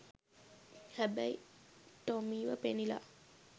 හැබැයි ටොමීව පෙනිලා